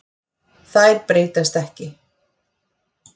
Þær breytast ekki.